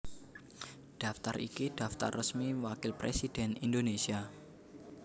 Daftar iki daftar resmi Wakil Presidhèn Indonésia